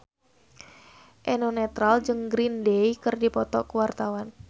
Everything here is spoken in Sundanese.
Eno Netral jeung Green Day keur dipoto ku wartawan